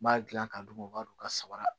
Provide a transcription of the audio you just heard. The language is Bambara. N b'a dilan k'a d'u ma u b'a don ka sabara